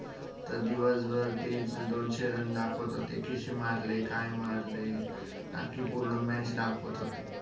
दिवस भर काय तेच दोनशे run दाखवत होते किती मारले काय मारले कि पूर्ण match दाखवत होते.